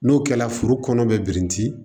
N'o kɛla foro kɔnɔ bɛ birinti